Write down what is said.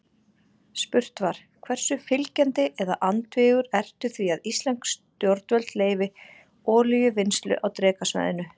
Spurt var: Hversu fylgjandi eða andvígur ertu því að íslensk stjórnvöld leyfi olíuvinnslu á Drekasvæðinu?